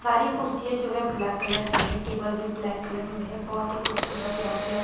सारी कुर्सियां जो है ब्लैक कलर की है टेबल भी ब्लैक कलर में है बहुत ही खूबसूरत यहाँ प लग --